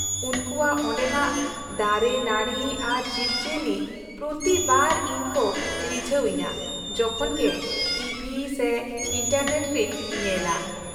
-ᱩᱱᱠᱩᱣᱟᱜ ᱚᱸᱰᱮᱱᱟᱜ ᱫᱟᱨᱮᱼᱱᱟᱹᱲᱤ ᱟᱨ ᱡᱤᱵᱼᱡᱤᱭᱟᱹᱞᱤ ᱯᱨᱚᱛᱤ ᱵᱟᱨ ᱤᱧ ᱠᱚ ᱨᱤᱡᱷᱟᱹᱣ ᱤᱧᱟᱹ ᱡᱚᱠᱷᱚᱱ ᱜᱮ ᱴᱤ ᱵᱷᱤ ᱥᱮ ᱮᱱᱴᱟᱨᱱᱮᱴ ᱨᱤᱧ ᱧᱮᱞᱟ ᱾